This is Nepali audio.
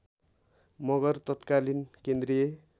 मगर तत्कालीन केन्द्रीय